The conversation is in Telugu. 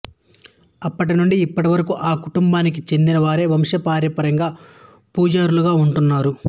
అప్పటినుండి ఇప్పటివరకు ఆ కుటుంబానికి చెందినవారే వంశపారంపర్యంగా పూజారులుగా ఉంటున్నారు